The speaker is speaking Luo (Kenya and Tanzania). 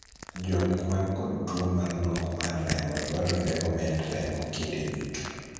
jok man kod tuo mar nok mar remo dwarore omed remo kinde duto